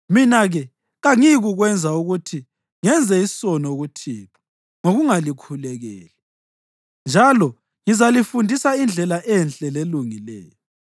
Mina-ke kangiyikukwenza ukuthi ngenze isono kuThixo ngokungalikhulekeli. Njalo ngizalifundisa indlela enhle lelungileyo.